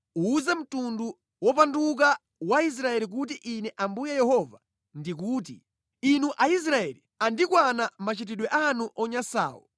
Uwuze mtundu wopanduka wa Israeli kuti Ine Ambuye Yehova ndikuti: Inu Aisraeli, andikwana machitidwe anu onyansawo!